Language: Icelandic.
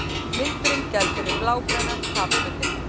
Vindurinn gældi við blágrænan hafflötinn.